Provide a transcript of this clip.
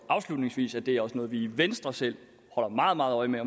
afslutningsvis at det også er noget vi i venstre selv holder meget meget øje med